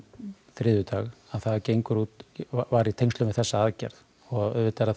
þriðjudag það var í tengslum við þessa aðgerð og auðvitað